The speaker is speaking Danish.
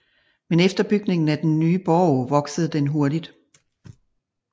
Men efter bygningen af den nye borg voksede den hurtigt